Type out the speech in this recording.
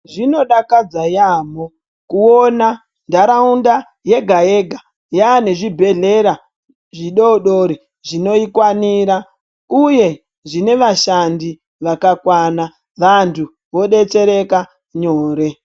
Zvinodakadza yaamho kuona nharaunda yega yega yaane zvibhedhlera zvidodori zvinoikwanira uyu zvine vashandi vakakwana vantu vodetsereka nyore.